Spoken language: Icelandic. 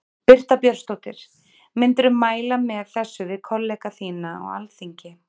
Birta Björnsdóttir: Myndirðu mæla með þessu við kollega þína á Alþingi?